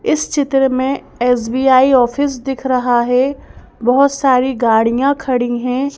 इस चित्र में एस_बी_आई ऑफिस दिख रहा है बहुत सारी गाड़ियां खड़ी हैं।